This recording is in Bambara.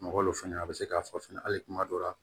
Mɔgɔ lu fɛnɛ a be se k'a fɔ fɛnɛ hali kuma dɔw la